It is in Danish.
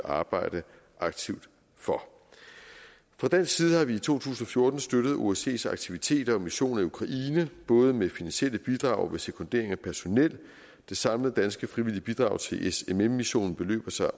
arbejde aktivt for fra dansk side har vi i to tusind og fjorten støttet osces aktiviteter og missioner i ukraine både med finansielle bidrag og ved sekundering af personel det samlede danske frivillige bidrag til smm missionen beløber sig